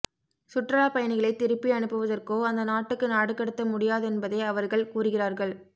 சுற்றுலா பயணிகளை திருப்பி அனுப்புவதற்கோ அந்த நாட்டுக்கு நாடுகடத்த முடியாதென்பதை அவர்கள் கூறுகிறார்கள்